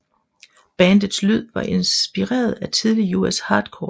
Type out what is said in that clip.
Bandets lyd var inspireret af tidlig US hardcore